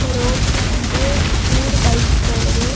ரோட்ல வந்து மூணு பைக் போகுது.